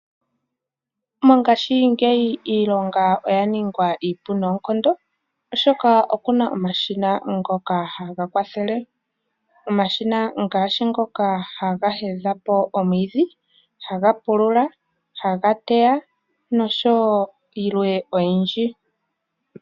Mongashingeyi iilonga oyaningwa iipu noonkondo oshoka okuna omashina ngoka haga kwathele, omashina ngaashi ngoka haga heya po omwidhi, haga pulula, haga teya nosho wo yilwe oyindji.